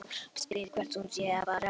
Spyr hvert hún sé að fara.